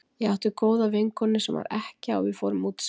Ég átti góða vinkonu sem var ekkja og við fórum út saman.